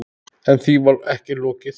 En því var ekki lokið.